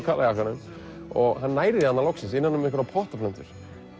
jakkanum hann nær því loksins innan um einhverjar pottaplöntur